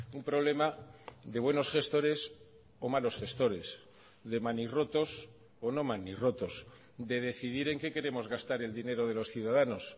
un problema de buenos gestores o malos gestores de manirrotos o no manirrotos de decidir en qué queremos gastar el dinero de los ciudadanos